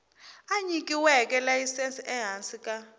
a nyikiweke layisense ehansi ka